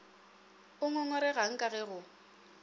o ngongoregang ka ge go